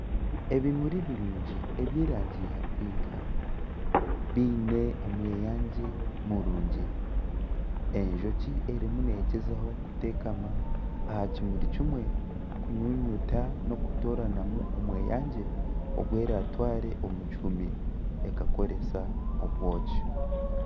Ebimuri birungi eby'erangi ya pinki biine omweyangye murungi enjoki erimu negyezaho kuteekama aha kimuri kimwe kunyunyuta n'okutooranamu omweyangye ogweratware omu kihuumi ekakoresa obwooki.